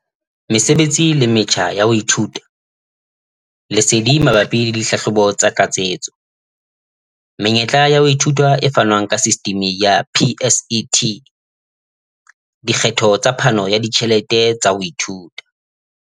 Mesebetsi le metjha ya ho ithuta. Lesedi mabapi le dihlahlobo tsa tlatsetso. Menyetla ya ho ithuta e fanwang ke sistimi ya PSET. Dikgetho tsa phano ya ditjhelete tsa ho ithuta.